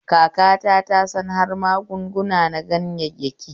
Kakata ta san har magunguna na ganyayyaki